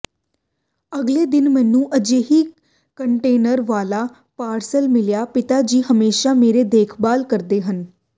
ਅਗਲੇ ਦਿਨ ਮੈਨੂੰ ਅਜਿਹੀ ਕੰਟੇਨਰ ਵਾਲਾ ਪਾਰਸਲ ਮਿਲਿਆ ਪਿਤਾ ਜੀ ਹਮੇਸ਼ਾ ਮੇਰੀ ਦੇਖਭਾਲ ਕਰਦੇ ਹਨ